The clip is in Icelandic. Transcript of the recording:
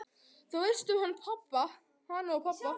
Þú veist um hana og pabba?